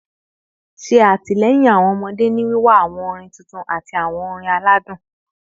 Ṣe atilẹyin awọn ọmọde ni wiwa awọn orin titun ati awọn orin aladun